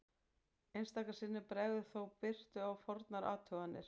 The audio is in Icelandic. Einstaka sinnum bregður þó birtu á fornar athuganir.